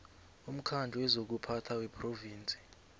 umkhandlu wezokuphatha wephrovinsi